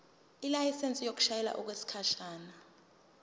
ilayisensi yokushayela okwesikhashana